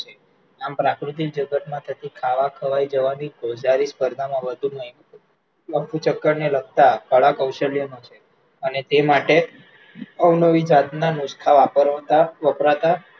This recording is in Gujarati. આમ પ્રાકૃતિક જગત માં થતી ખાવા-ખવાય જવાની ભોજારી સ્પર્ધામાં વધુ નઈ, રફુચક્કરને લગતા કળા-કૌશલ્યનો છે અને તે માટે અવનવી જાતના નુસખા વપરાતા